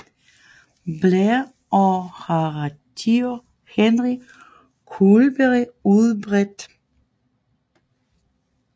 Blair og Horatio Henry Couldery udbredt